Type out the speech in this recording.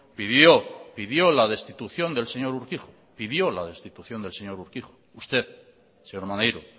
pidió pidió la destitución del señor urkijo pidió la destitución del señor urkijo usted señor maneiro